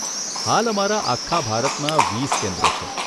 હાલ અમારા આખા ભારતમાં વીસ કેન્દ્રો છે.